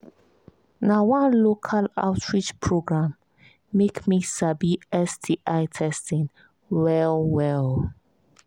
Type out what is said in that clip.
na one local outreach program make me sabi sti testing well well